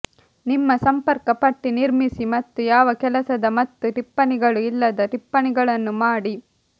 ನಿಮ್ಮ ಸಂಪರ್ಕ ಪಟ್ಟಿ ನಿರ್ಮಿಸಿ ಮತ್ತು ಯಾವ ಕೆಲಸದ ಮತ್ತು ಟಿಪ್ಪಣಿಗಳು ಇಲ್ಲದ ಟಿಪ್ಪಣಿಗಳನ್ನು ಮಾಡಿ